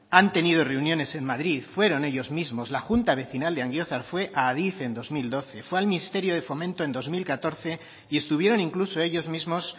han tenido reuniones en madrid fueron ellos mismos la junta vecinal de angiozar fue a adif en dos mil doce fue al ministerio de fomento en dos mil catorce y estuvieron incluso ellos mismos